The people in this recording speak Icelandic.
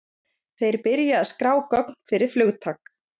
þeir byrja að skrá gögn fyrir flugtak